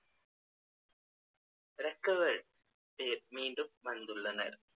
recovered பேர் மீண்டும் வந்துள்ளனர்